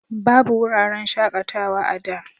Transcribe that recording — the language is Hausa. Babu wuraren shaƙatawa a da.